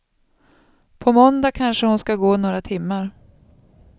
På måndag kanske hon ska gå några timmar.